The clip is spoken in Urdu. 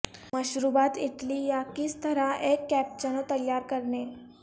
مشروبات اٹلی یا کس طرح ایک کیپچنو تیار کرنے